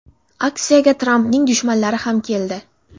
Aksiyaga Trampning dushmanlari ham keldi.